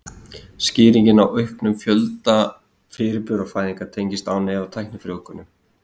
Skýringin á auknum fjölda fjölburafæðinga tengist án efa tæknifrjóvgunum.